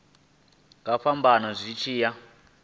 nga fhambana zwi tshi ya